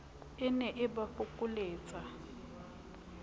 e ne e ba fokoletsa